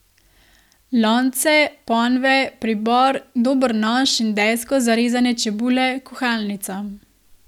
Lonce, ponve, pribor, dober nož in desko za rezanje čebule, kuhalnico.